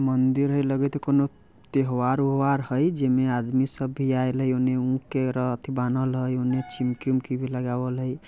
मंदिर हई लगत है कोनो तेव्हार - ओव्हार हई जीमे आदमी सब भी आयेले उने उकरा आती बनल हई। उने चिमकी-विमकी लगावल हई।